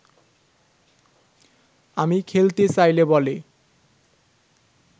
আমি খেলতে চাইলে বলে